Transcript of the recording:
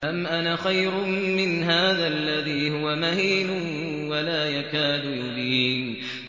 أَمْ أَنَا خَيْرٌ مِّنْ هَٰذَا الَّذِي هُوَ مَهِينٌ وَلَا يَكَادُ يُبِينُ